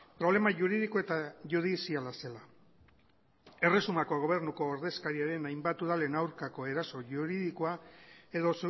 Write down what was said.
problema juridiko eta judiziala zela erresumako gobernuko ordezkariaren hainbat udalen aurkakoeraso juridikoa edo